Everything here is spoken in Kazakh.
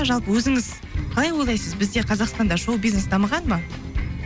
жалпы өзіңіз қалай ойлайсыз бізде қазақстанда шоу бизнес дамыған ба